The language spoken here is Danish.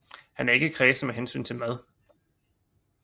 Han er ikke kræsen med hensyn til mad